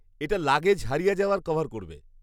এটা লাগেজ হারিয়ে যাওয়া কভার করবে।